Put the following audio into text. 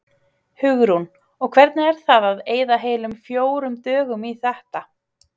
Hugrún: Og hvernig er það að eyða heilum fjórum dögum í þetta?